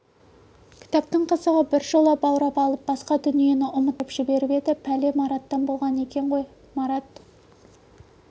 кітаптың қызығы біржола баурап алып басқа дүниені ұмыттырып жіберіп еді пәле мараттан болған екен қой марат